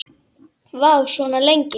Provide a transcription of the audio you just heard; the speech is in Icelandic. Vá, svona lengi?